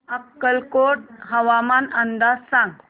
अक्कलकोट हवामान अंदाज सांग